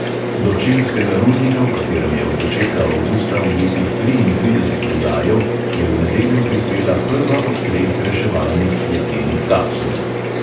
Do čilskega rudnika, v katerem je od začetka avgusta ujetih triintrideset rudarjev, je v nedeljo prispela prva od treh reševalnih jeklenih kapsul.